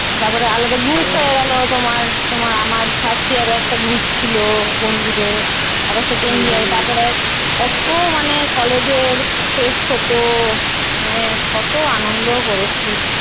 তারপরে আলাদা Group হয়ে গেলো তোমার। তোমার আমার first year এ একটা group ছিল বন্ধুদের। আবার second year এ তারপর কত মানে college এর fest হতো? মানে কত আনন্দ করেছি।